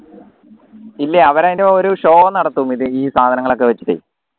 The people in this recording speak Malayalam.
ഇല്ല അവരതിന്റെ ഒരു show നടത്തും ഇത് ഈ സാധനങ്ങളൊക്കെ വെച്ചിട്ട്